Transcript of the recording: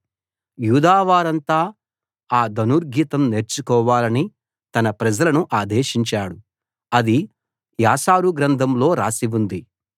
యూదా వారంతా ఆ ధనుర్గీతం నేర్చుకోవాలని తన ప్రజలను ఆదేశించాడు అది యాషారు గ్రంథంలో రాసి ఉంది